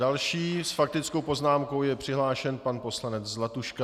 Další s faktickou poznámkou je přihlášen pan poslanec Zlatuška.